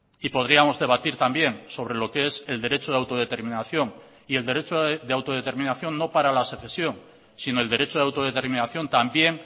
y podríamos debatir también sobre lo que es el derecho de autodeterminación y el derecho de autodeterminación no para la secesión sino el derecho a la autodeterminación también